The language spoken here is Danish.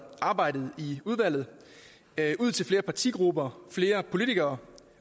arbejdet i udvalget ud til flere partigrupper flere politikere